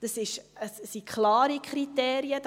Das sind klare Kriterien.